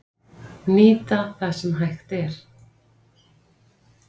Nýta það sem hægt er